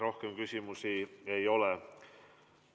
Rohkem küsimusi ei ole.